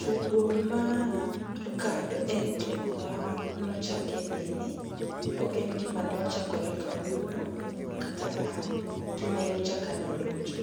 Tugo mar card en tugo ma nochake nene, ok en gima nochakore kawuono. Kata gima nyocha ka nodonjo.